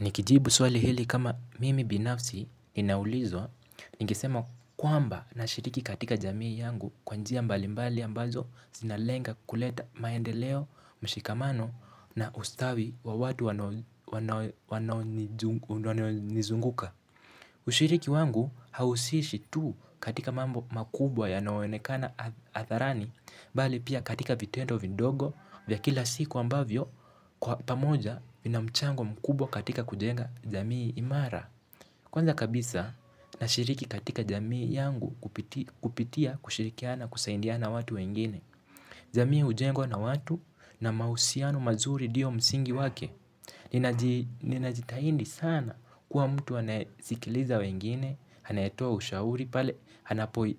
Nikijibu swali hili kama mimi binafsi inauliza, ningesema kwamba nashiriki katika jamii yangu kwa njia mbali mbali ambazo zinalenga kuleta maendeleo, mshikamano na ustawi wa watu wanoo nizunguka. Ushiriki wangu hausishi tu katika mambo makubwa yanayoonekana hadharani bali pia katika vitendo vidogo vya kila siku ambavyo pamoja vina mchango mkubwa katika kujenga jamii imara. Kwanza kabisa na shiriki katika jamii yangu kupitia kushirikiana kusaidiana watu wengine. Jamii hujengwa na watu na mahusiano mazuri ndiyo msingi wake, ninajitahidi sana kuwa mtu anasikiliza wengine, anayetoa ushauri pale,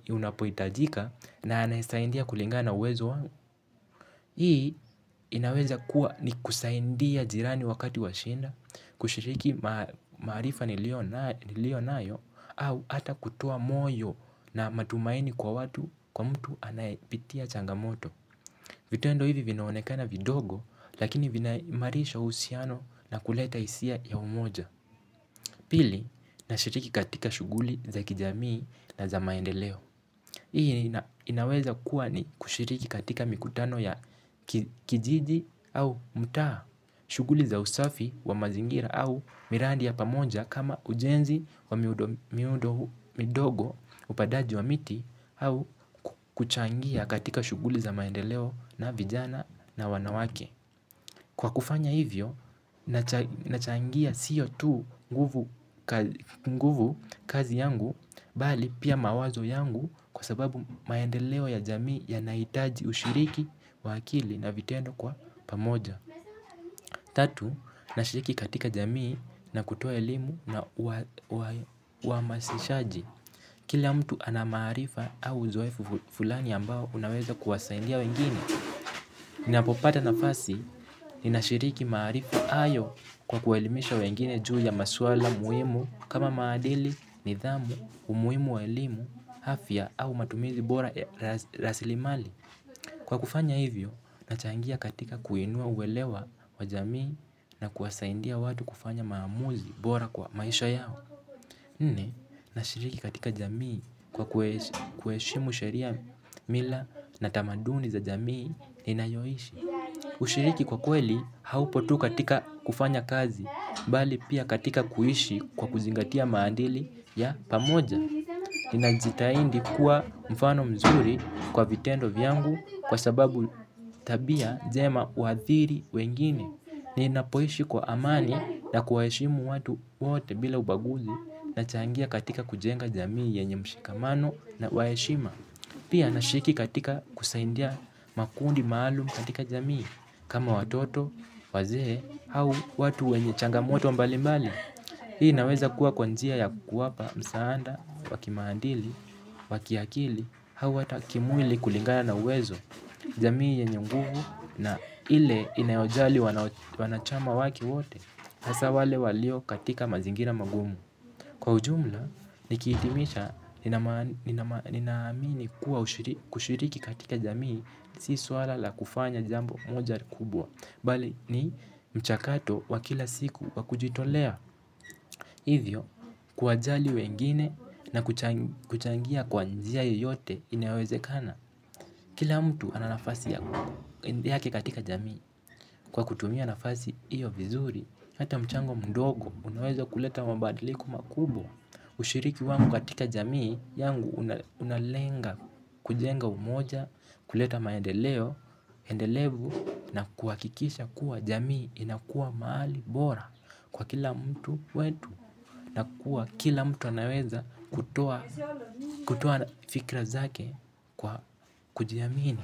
unapohitajika na anayesaidia kulingana na uwezo wangu. Hii inaweza kuwa ni kusaidia jirani wakati wa shida kushiriki maarifa niliyo nayo au hata kutoa moyo na matumaini kwa mtu anaye pitia changamoto. Vitendo hivi vinaonekana vidogo lakini vina imarisha uhusiano na kuleta hisia ya umoja. Pili nashiriki katika shughuli za kijamii na za maendeleo. Hii inaweza kuwa ni kushiriki katika mikutano ya kijiji au mtaa, shughuli za usafi wa mazingira au miradi ya pamoja kama ujenzi wa miundo midogo upandaji wa miti au kuchangia katika shughuli za maendeleo na vijana na wanawake. Kwa kufanya hivyo, nachangia siyo tu nguvu kazi yangu bali pia mawazo yangu kwa sababu maendeleo ya jamii yanahitaji ushiriki wa akili na vitendo kwa pamoja. Tatu, nashiriki katika jamii na kutoa elimu na uhamasishaji. Kila mtu ana maarifa au uzoefu fulani ambao unaweza kuwasaidia wengine. Ninapopata nafasi, ninashiriki marifu hayo kwa kuwaelimisha wengine juu ya maswala muhimu kama maadili, nidhamu, umuhimu wa elimu, afia au matumizi bora ya rasilimali kwa kufanya hivyo nachangia katika kuinua uelewa wa jamii na kuwasaidia watu kufanya maamuzi bora kwa maisha yao. Nne, nashiriki katika jamii kwa kuheshimu sheria mila na tamaduni za jamii ninayoishi. Ushiriki kwa kweli haupo tu katika kufanya kazi, bali pia katika kuishi kwa kuzingatia maadili ya pamoja. Ninajitahindi kuwa mfano mzuri kwa vitendo vyangu kwa sababu tabia jema uhathiri wengine. Ninapoishi kwa amani na kuwaheshimu watu wote bila ubaguzi nachangia katika kujenga jamii yenye mshikamano na waheshima. Pia nashiriki katika kusaidia makundi maalum katika jamii kama watoto wazee au watu wenye changamoto mbali mbali. Hii inaweza kuwa kwa njia ya kuwapa msaada wa kimaadili wa kiakili, au hata kimwili kulingana na uwezo, jamii yenye nguvu na ile inayojali wanachama wake wote, hasa wale walio katika mazingina magumu. Kwa ujumla nikihitimisha ninaamini kuwa kushiriki katika jamii si suala la kufanya jambo moja kubwa bali ni mchakato wa kila siku wa kujitolea. Hivyo, kuwajali wengine na kuchangia kwa njia yoyote inawezekana, kila mtu ana nafasi yake katika jamii. Kwa kutumia nafasi iyo vizuri, hata mchango mdogo, unaweza kuleta mabadiliko makubwa. Ushiriki wangu katika jamii yangu unalenga kujenga umoja kuleta maendeleo endelevu na kuhakikisha kuwa jamii inakuwa mahali bora kwa kila mtu wetu. Na kuwa kila mtu anaweza kutoa fikra zake kwa kujiamini.